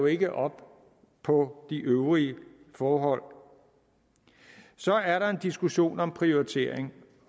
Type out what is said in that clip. ikke op på de øvrige forhold så er der en diskussion om prioritering